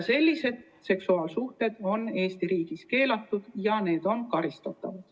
Sellised seksuaalsuhted on Eesti riigis keelatud ja need on karistatavad.